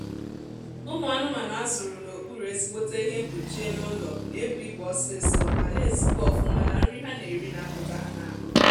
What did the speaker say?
ụmụ anụmanụ a zụrụ n'okpuru ezigbote ihe mpkuchi elu ụlọ na-ebu ibu ọsịịsọ ma na-ezikwa ọfụma na nri ha na-eri na-apụta ha n'ahụ